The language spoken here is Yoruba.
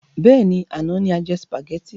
Bẹ́ẹ̀ni, àná ni a jẹ sùpàgétì.